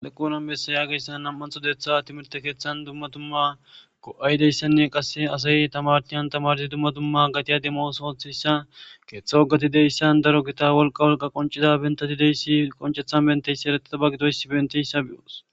aleqqu nanbessa yaageyssan nam7antho deeththa timirte keeththan dumma dumma go7aydeyssanne qasse asay tamartiyan tamardi dumma dumma gatiya demos oothissa keeththa woggati deyssan daro gita wolqa wolqa qoncida bentati deyssi qoncethan benteyssi eretaba gitoysi benteyssa bi7oos